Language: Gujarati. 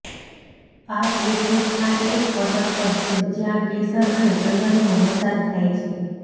આ તીર્થસ્થાન એક પર્વત પર છે જ્યાં કેસર અને ચંદનનો વરસાદ થાય છે